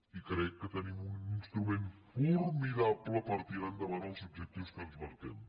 i crec que tenim un instrument formidable per tirar endavant els objectius que ens marquem